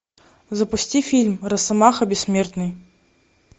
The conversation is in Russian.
запусти фильм росомаха бессмертный